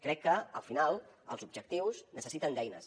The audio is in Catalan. crec que al final els objectius necessiten eines